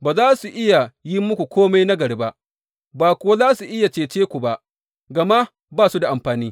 Ba za su iya yi muku kome nagari ba, ba kuwa za su iya cece ku ba, gama ba su da amfani.